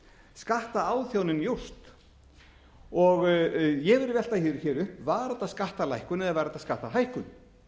þetta skattaáþjánin jókst ég vil velta því hér upp var þetta skattalækkun eða var þetta skattahækkun